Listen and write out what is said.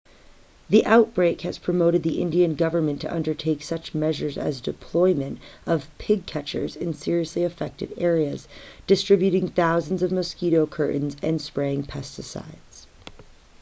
the outbreak has prompted the indian government to undertake such measures as deployment of pig catchers in seriously affected areas distributing thousands of mosquito curtains and spraying pesticides